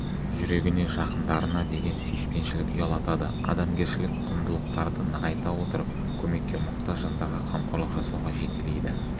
жүрегіне жақындарына деген сүйіспеншілік ұялатады адамгершілік құндылықтарды нығайта отырып көмекке мұқтаж жандарға қамқорлық жасауға жетелейді